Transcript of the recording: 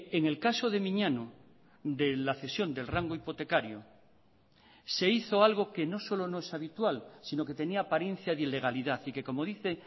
en el caso de miñano de la cesión del rango hipotecario se hizo algo que no solo no es habitual sino que tenía apariencia de ilegalidad y que como dice